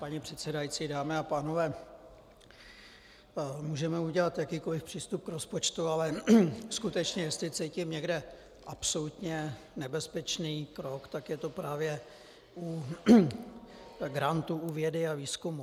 Paní předsedající, dámy a pánové, můžeme udělat jakýkoli přístup k rozpočtu, ale skutečně jestli cítím někde absolutně nebezpečný krok, tak je to právě u grantů u vědy a výzkumu.